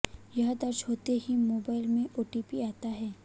यह दर्ज होते ही मोबाइल में ओटीपी आता है